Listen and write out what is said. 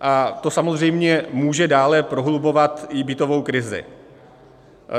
A to samozřejmě může dále prohlubovat i bytovou krizi.